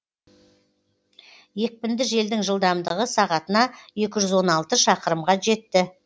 екпінді желдің жылдамдығы сағатына екі жүз он алты шақырымға жетті